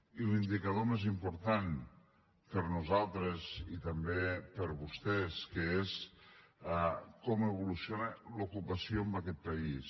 i l’indicador més important per nosaltres i també per vostès que és com evoluciona l’ocupació en aquest país